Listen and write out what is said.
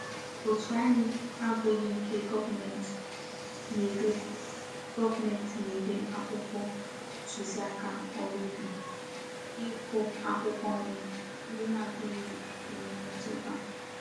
Otu anyi n'abughi nke goment na-ere goment na-ere akwukwo ntuzi aka órú ubi iku akwukwo nri ndi na-adighi enwe mmetuta.